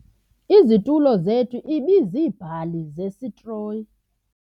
Izitulo zethu ibiziibhali zesitroyi.